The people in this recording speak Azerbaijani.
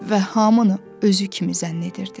Və hamını özü kimi zənn edirdi.